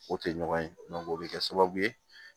O tɛ ɲɔgɔn ye o bɛ kɛ sababu ye